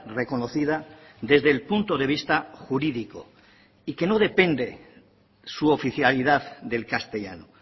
reconocida desde el punto de vista jurídico y que no depende su oficialidad del castellano